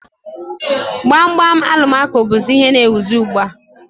Gbam gbam Alụmaco bụzị ihe n'éwuzi ugbu a